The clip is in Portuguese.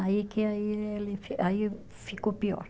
Aí que aí ele, aí ficou pior.